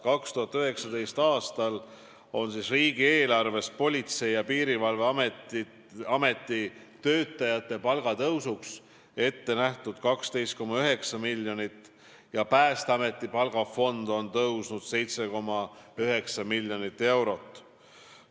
2019. aastal on riigieelarvest Politsei- ja Piirivalveameti töötajate palga tõusuks ette nähtud 12,9 miljonit eurot ja Päästeameti palgafond on suurenenud 7,9 miljonit eurot.